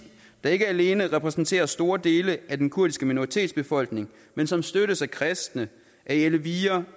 der ikke alene repræsenterer store del af den kurdiske minoritet i befolkningen men som støttes af kristne alevier